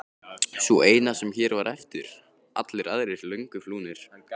Sú eina sem hér var eftir, allir aðrir löngu flúnir.